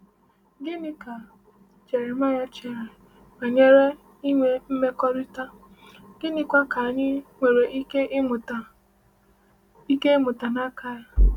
Gịnị ka Jeremaịa chere banyere inwe mmekọrịta, gịnịkwa ka anyị nwere ike ịmụta ike ịmụta n’aka ya?